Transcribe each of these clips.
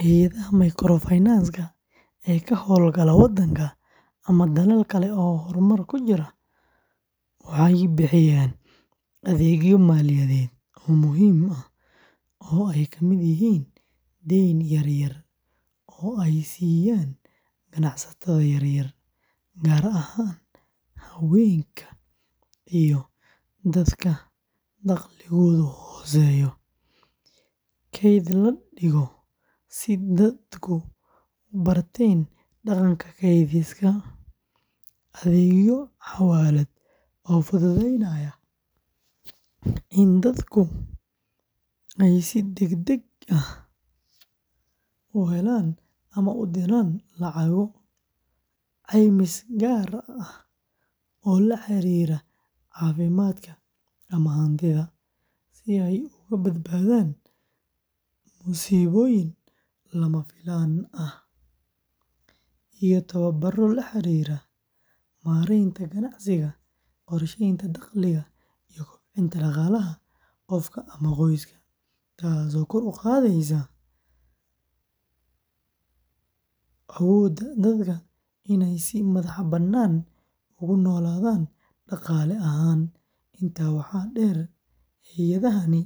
Hay’adaha microfinance-ka ee ka hawlgala wadhanka ama dalal kale oo horumar ku jira waxay bixiyaan adeegyo maaliyadeed oo muhiim ah oo ay ka mid yihiin deyn yar-yar oo ay siiyaan ganacsatada yaryar, gaar ahaan haweenka iyo dadka dakhligoodu hooseeyo; kayd la dhigo si dadku u barteen dhaqanka kaydsiga; adeegyo xawaalad oo fududeynaya in dadku si degdeg ah u helaan ama u diraan lacago; caymis gaar ah oo la xiriira caafimaadka ama hantida, si ay uga badbaadaan musiibooyin lama filaan ah; iyo tababaro la xiriira maaraynta ganacsiga, qorsheynta dakhliga, iyo kobcinta dhaqaalaha qofka ama qoyska, taasoo kor u qaadaysa awoodda dadka inay si madax-bannaan ugu noolaadaan dhaqaale ahaan. Intaa waxaa dheer, hay’adahani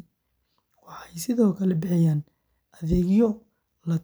waxay sidoo kale bixiyaan adeegyo la-talin ah.